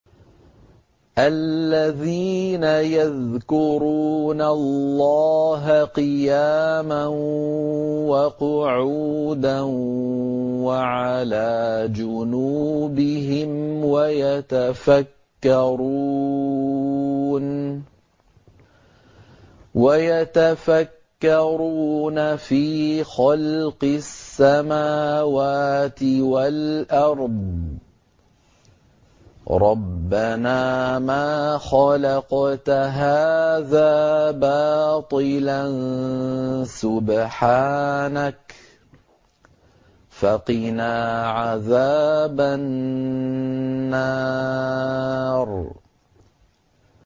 الَّذِينَ يَذْكُرُونَ اللَّهَ قِيَامًا وَقُعُودًا وَعَلَىٰ جُنُوبِهِمْ وَيَتَفَكَّرُونَ فِي خَلْقِ السَّمَاوَاتِ وَالْأَرْضِ رَبَّنَا مَا خَلَقْتَ هَٰذَا بَاطِلًا سُبْحَانَكَ فَقِنَا عَذَابَ النَّارِ